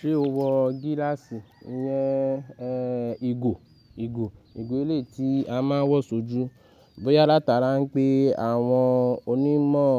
Ṣé o wọ gíláàsì? Ìyẹn, e, ìgò, ìgò, ìgò elé ti a máa ń wọ ṣojú. Bóyá látara ń pé àwọn onímọ̀,